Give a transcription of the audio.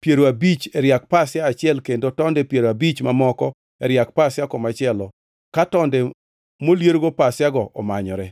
piero abich e riak pasia achiel kendo tonde piero abich mamoko e riak pasia komachielo ka tonde moliergo pasiago omanyore.